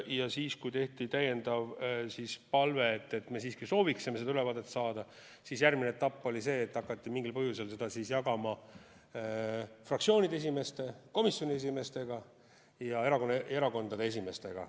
Ja siis, kui esitati täiendav palve, et me siiski sooviksime seda ülevaadet saada, siis järgmine etapp oli see, et hakati mingil põhjusel seda jagama fraktsioonide esimeestega, komisjoni esimeestega ja erakondade esimeestega.